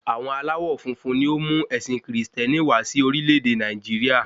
Àwọn aláwọ̀ funfun ni ó mú ẹ̀sìn kìrìsìtẹ́nì wá sí orílẹ̀-èdè Nàìjíríà